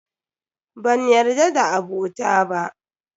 Banyarda da abota ba.